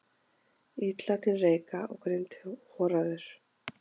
Illa til reika og grindhoraður.